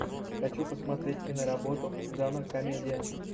хочу посмотреть киноработу жанр комедия